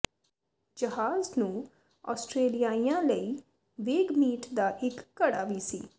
ਜਹਾਜ਼ ਨੂੰ ਆਸਟ੍ਰੇਲੀਆਈਆਂ ਲਈ ਵੇਗਮੀਟ ਦਾ ਇੱਕ ਘੜਾ ਵੀ ਸੀ